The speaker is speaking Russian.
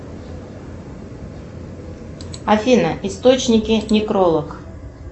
афина источники некролог